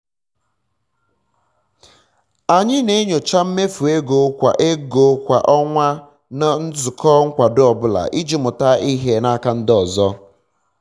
anyị na-enyocha mmefu ego kwa ego kwa ọnwa na nzukọ nkwado ọ bụla iji mụta ihe n'aka ndị ọzọ